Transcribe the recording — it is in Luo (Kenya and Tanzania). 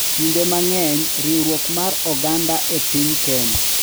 Kinde mang’eny, riwruok mar oganda e piny Kenya